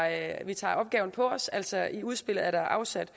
at vi tager opgaven på os altså i udspillet er der afsat